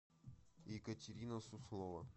екатерина суслова